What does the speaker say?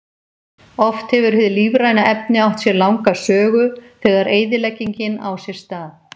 Oft hefur hið lífræna efni átt sér langa sögu, þegar eyðileggingin á sér stað.